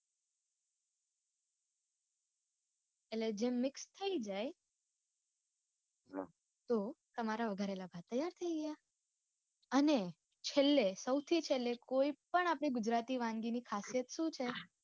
એટલે જેમ mix થઇ જાય તો તમારા વઘારેલા ભાત તૈયાર થઇ ગયા. અને છેલ્લે સૌથું છેલ્લે કોઈ પણ આપડી ગુજરાતી વાનગી ની ખાસિયત સુ છે?